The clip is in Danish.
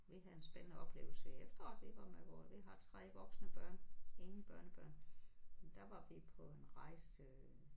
Vi havde en spændende oplevelse i efteråret vi var med vore vi har 3 voksne børn ingen børnebørn. Der var vi på en rejse